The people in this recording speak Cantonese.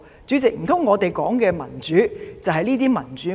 主席，難道我們說的民主便是這種民主嗎？